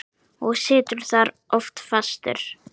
Og situr þar oft fastur.